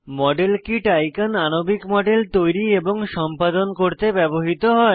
model kit icon আণবিক model তৈরি এবং সম্পাদন করতে ব্যবহৃত হয়